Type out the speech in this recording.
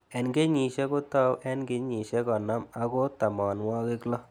Eng' kenyishek ko tau eng' kenyishek konom ako tamanwog'ik loo